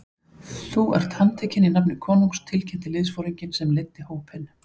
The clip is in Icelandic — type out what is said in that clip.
Þú er handtekinn í nafni konungs tilkynnti liðsforinginn sem leiddi hópinn.